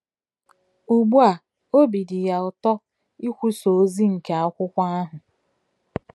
Ugbu a, obi dị ya ụtọ ikwusa ozi nke akwụkwọ ahụ.